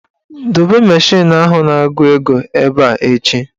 Dobe mashin ahụ na-agụ ego ebe a echi"!.